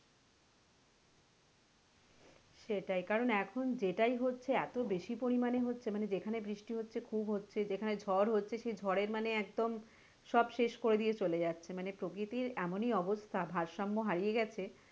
সেটাই কারন এখন জেটাই হচ্ছে এতো বেশি পরিমানে হচ্ছে মানে যেখানে বৃষ্টি হচ্ছে খুব হচ্ছে যেখানে ঝড় হচ্ছে সেই ঝড়ের মানে একদম সব শেষ করে দিয়ে চলে যাচ্ছে মানে প্রকৃতির এমনই অবস্থা ভারসাম্য হারিয়ে গেছে,